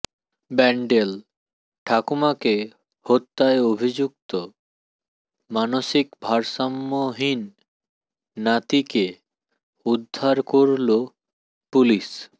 ব্যান্ডেল ঠাকুমাকে হত্যায় অভিযুক্ত মানসিক ভারসাম্যহীণ নাতিকে উদ্ধার করল পুলিশ